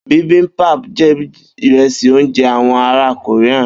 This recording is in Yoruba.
Bibimbap jẹ Ìrẹ́sì oúnjẹ àwon ará Korea.